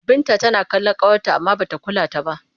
Binta tana kallon ƙawarta amma ba ta kula ta ba.